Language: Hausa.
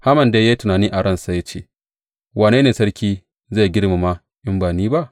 Haman dai ya yi tunani a ransa ya ce, Wane ne sarki zai girmama in ba ni ba?